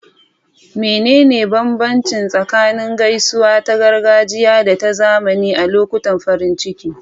Menene bambanci tsakanin gaisuwa ta gargajiya da ta zamani a lokutan farin ciki?